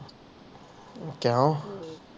ਅਮ ਕੀਯੋ